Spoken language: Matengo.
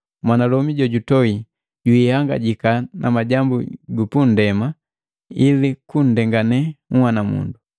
Mwanalomi jojutoi jwiihangajaki majambu gupundema ili anndengannya nhwanamundu,